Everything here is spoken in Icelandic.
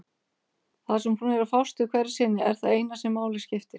Það sem hún er að fást við hverju sinni er það eina sem máli skiptir.